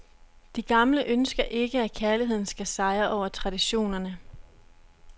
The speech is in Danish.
De gamle ønsker ikke, at kærligheden skal sejre over traditionerne.